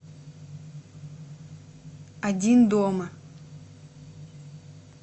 один дома